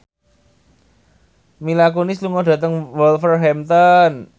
Mila Kunis lunga dhateng Wolverhampton